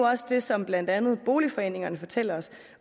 også det som blandt andet boligforeningerne fortæller os